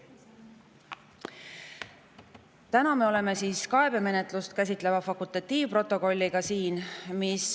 Täna me oleme siin kaebemenetlust käsitleva fakultatiivprotokolliga.